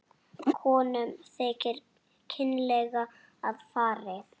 Konum þykir kynlega að farið.